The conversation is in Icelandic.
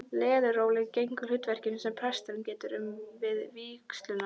Leðurólin gegnir hlutverkinu sem presturinn getur um við vígsluna.